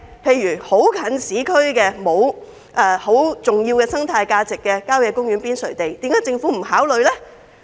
例如，一些很接近市區，沒有太重要生態價值的郊野公園邊陲用地，為何政府不予考慮？